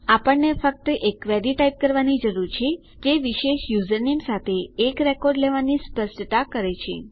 આપણને ફક્ત એક ક્વેરી ટાઈપ કરવાની જરૂર છે જે વિશેષ યુઝરનેમ સાથે એક રેકોર્ડ લેવાની સ્પષ્ટતા કરે છે